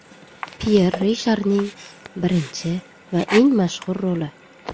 Pyer Risharning birinchi va eng mashhur roli.